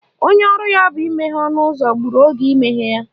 Onye ọrụ ya bụ imeghe ọnụụzọ gburu oge imeghe ya.